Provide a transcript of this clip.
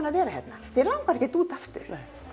að vera hérna þig langar ekkert út aftur